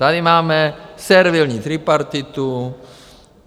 Tady máme servilní tripartitu.